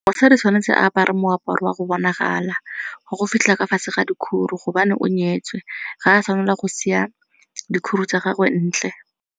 Mosadi tshwanetse a apare moaparo wa go bonagala, wa go fitlha ka fatshe ka dikhuro gobane o nyetswe ga a tshwanela go siya dikhuru tsa gagwe ntle.